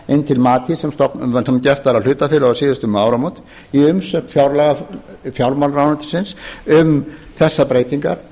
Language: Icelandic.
inn til matís sem gert var að hlutafélagi um síðastliðin áramót í umsögn fjármálaráðuneytisins um þessar breytingar